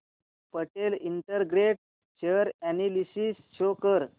Patel integrate share analysis show कर